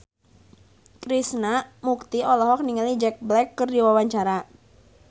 Krishna Mukti olohok ningali Jack Black keur diwawancara